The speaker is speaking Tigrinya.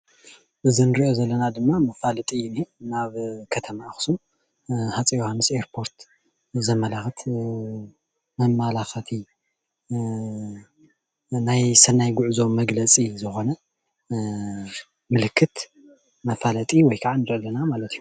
እዚ ንርኦ ዘለና ድማ መፋለጥ እዩ ዝነሀ። ናብ ከተማ ኣክሱም ሃፀይ ዮሃንስ ኣየር ፖርት ዘማላክት መማላከቲ ናይ ሰናይ ጉዕዞ መግለፅ ዝኮነ ምልክት መፍለጢ ወይ ከዓ ንርኢ ኣለና ማለት እዩ።